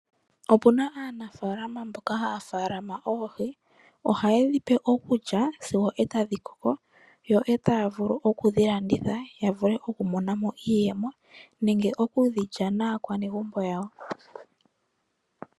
Opu na aanafalama mboka haya faalama oohi ohaye dhipe okulya sigo e tadhi koko yo taya vulu okudhilanditha ya vule okumonamo iiyemo nenge okudhilya naakwanegumbo yawo.